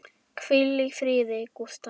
Hvíl í fríði, Gústa mín.